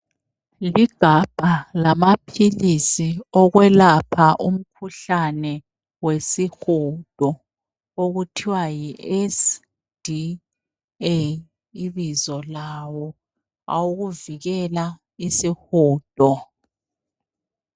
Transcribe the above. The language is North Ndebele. Ligabha lamaphilisi okwelapha umkhuhlane wesihudo okuthiwa yi SDA ibizo lawo awokuvikela isihudo .